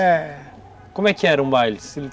É. Como é que era um baile?